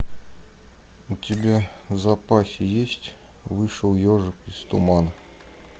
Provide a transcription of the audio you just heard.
у тебя в запасе есть вышел ежик из тумана